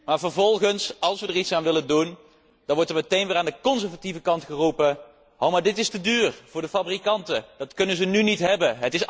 Maar vervolgens, als wij er iets aan willen doen, wordt er meteen weer aan de conservatieve kant geroepen dit is te duur voor de fabrikanten, dit kunnen ze nu niet hebben.